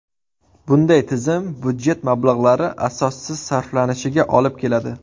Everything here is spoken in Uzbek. Bunday tizim budjet mablag‘lari asossiz sarflanishiga olib keladi.